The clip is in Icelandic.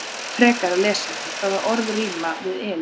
Frekara lesefni: Hvaða orð rímar við Elín?